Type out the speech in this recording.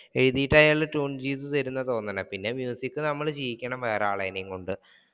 എഴുതിട്ട് അയാൾ ട്യൂൺ ചെയ്ത് തരുമെന്നാണ് തോന്നണേ, പിന്നെ മ്യൂസിക് നമ്മൾ ചെയ്യിക്കണം വേറെ ആളെന്നെ കൊണ്ട്